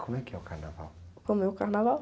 Como é que é o carnaval?omo é o carnaval?